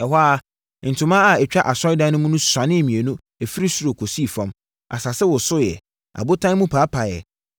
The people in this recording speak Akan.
Ɛhɔ ara, ntoma a ɛtwa asɔredan no mu no mu suanee mmienu firi soro kɔsii fam. Asase wosoeɛ. Abotan mu paapaeɛ.